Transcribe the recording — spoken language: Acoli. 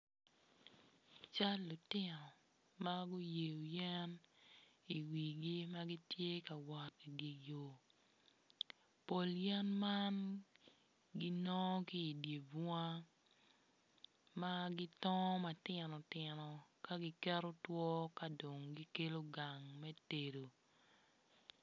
Cal lutino ma guyeyo yen iwigi ma gitye ka wot idye yo pol yen man ginongo ki idye bunga ma gitongo matino tino ka giketo two ka dong gikelo gang me tedo.